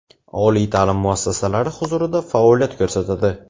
oliy taʼlim muassasalari huzurida faoliyat ko‘rsatadi.